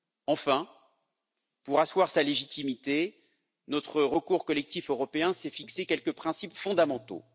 Enfin, pour asseoir sa légitimité, notre recours collectif européen s'est fixé quelques principes fondamentaux.